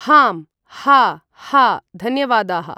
हाँम् हाँ हाँ धन्यवादाः ।